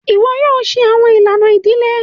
Iwọ yoo ṣe awọn ilana idile!